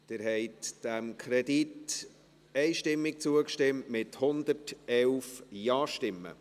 Sie haben diesem Kredit einstimmig zugestimmt, mit 111 Ja-Stimmen.